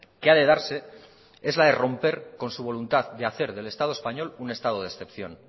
que ha de darse es la de romper con su voluntad de hacer del estado español un estado de excepción